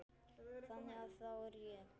Þannig að þá er ég.